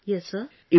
Preeti ji